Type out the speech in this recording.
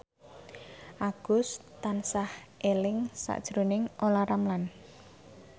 Agus tansah eling sakjroning Olla Ramlan